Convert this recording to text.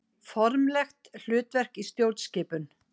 Formlegt hlutverk í stjórnskipun.